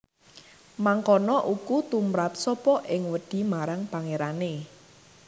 Mangkono uku tumrap sapa ing wedi marang Pangerane